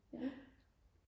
ja